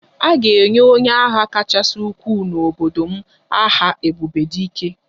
A ga-enye onye agha kachasị ukwuu n'obodo m aha 'ebube dike'